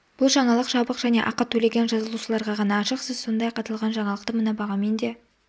бұл жаңалық жабық және ақы төлеген жазылушыларға ғана ашық сіз сондай-ақ аталған жаңалықты мына бағамен де